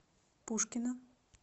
пушкино